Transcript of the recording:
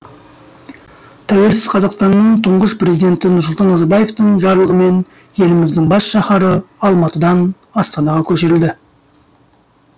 тәуелсіз қазақстанның тұңғыш президенті нұрсұлтан назарбаевтың жарлығымен еліміздің бас шаһары алматыдан астанаға көшірілді